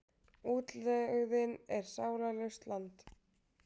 Útlegðin er sálarlaust land.